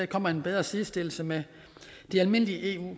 kommer en bedre sidestillelse med de almindelige eu